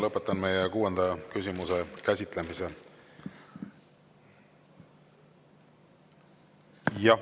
Lõpetan meie kuuenda küsimuse käsitlemise.